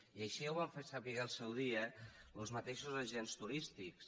i així ja ho van fer saber al seu dia los mateixos agents turístics